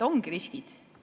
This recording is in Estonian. Ongi riskid.